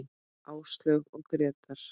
Áslaug og Grétar.